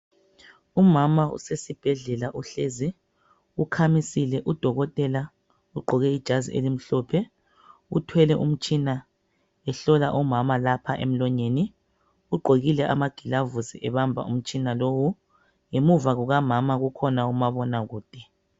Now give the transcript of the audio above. Umama usesibhedlela uhlezi ukhamisile udokotela ugqoke ijazi elimhlophe uthwele umtshina ehlola umama lapha emlonyeni, ugqokile amagilavusi ebamba umtshina lowu. Ngemuva kukamama kukhona umabonakude.